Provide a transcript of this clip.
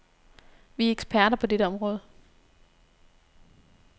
Vi er eksperter på dette område.